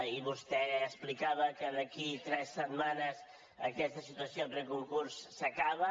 i vostè explicava que d’aquí a tres setmanes aquesta situació de preconcurs s’acaba